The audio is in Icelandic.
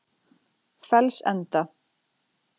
Fellsenda